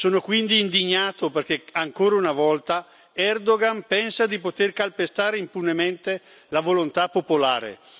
Sono quindi indignato perché, ancora una volta, Erdoğan pensa di poter calpestare impunemente la volontà popolare.